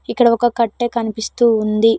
ఇక్కడ ఒక కట్టే కనిపిస్తూ ఉంది.